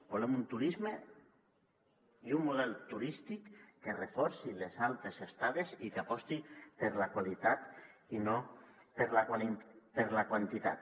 volem un turisme i un model turístic que reforci les altes estades i que aposti per la qualitat i no per la quantitat